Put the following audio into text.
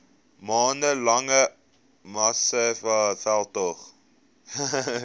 maande lange massamediaveldtog